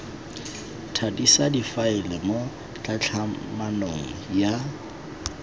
thadisa difaele mo tlhatlhamanong ya